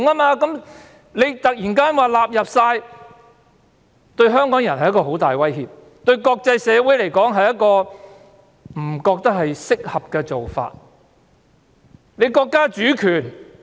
如今突然說完全納入，對香港人是很大的威脅，對國際社會而言亦不是適合的做法。